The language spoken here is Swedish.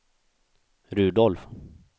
Rudolf